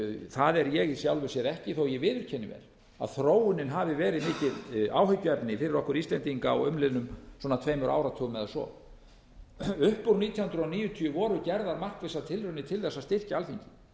það er ég í sjálfu sér ekki þó ég viðurkenni vel að þróunin hafi verið mikið áhyggjuefni fyrir okkur íslendinga á umliðnum svona tveimur áratugum eða svo upp úr nítján hundruð níutíu voru gerðar markvissar tilraunir til þess að styrkja alþingi